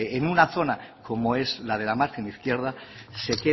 en una zona como es la de la margen izquierda se